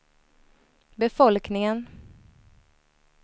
befolkningen